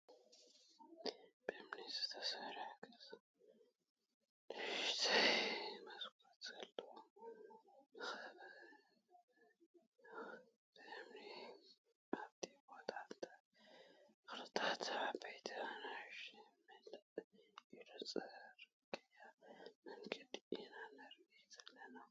ብእምኒ ዝተሰርሐ ገዛ ንእሽተይ መስኮት ዘለዎ መካበብይኡ ብእምኒ ኣብቲ ቦታ ተክልታት ዓበይቲን ንእሽተይን ምልእ ኢሉ ፅርግገያ መንገዲ ኢና ንርኢ ዘለና።